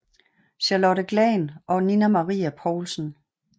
Charlotte Glahn og Nina Marie Poulsen